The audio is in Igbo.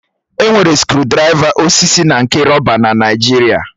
Enwere skrụdiraiva osisi na nke rọba na Naịjirịa.